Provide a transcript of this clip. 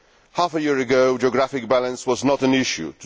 Half a year ago, geographical balance was not an issue.